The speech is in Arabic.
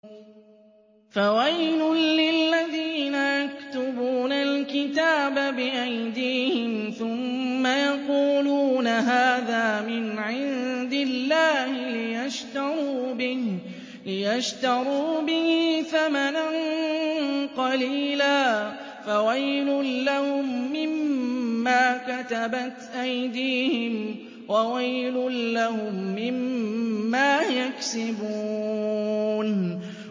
فَوَيْلٌ لِّلَّذِينَ يَكْتُبُونَ الْكِتَابَ بِأَيْدِيهِمْ ثُمَّ يَقُولُونَ هَٰذَا مِنْ عِندِ اللَّهِ لِيَشْتَرُوا بِهِ ثَمَنًا قَلِيلًا ۖ فَوَيْلٌ لَّهُم مِّمَّا كَتَبَتْ أَيْدِيهِمْ وَوَيْلٌ لَّهُم مِّمَّا يَكْسِبُونَ